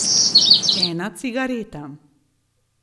Ena cigareta.